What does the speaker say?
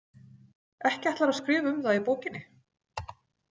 Ekki ætlarðu að skrifa um það í bókinni?